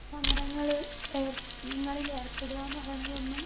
speaker 2 സമരങ്ങള് ഏർ ങ്ങളിൽ ഏർപ്പെടാ എന്ന് പറയണതൊന്നും